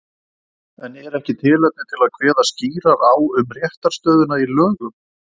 En er ekki tilefni til að kveða skýrar á um réttarstöðuna í lögum?